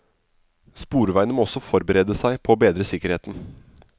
Sporveiene må også forberede seg på å bedre sikkerheten.